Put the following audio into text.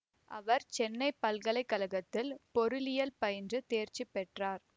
அவர் சென்னை பல்கலை கழகத்தில் பொருளியல் பயின்று தேர்ச்சிபெற்றார்